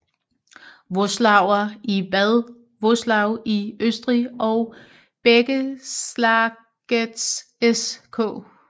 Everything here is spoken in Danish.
Vöslauer i Bad Vöslau i Østrig og Bækkelagets SK